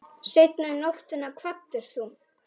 Seinna um nóttina kvaddir þú.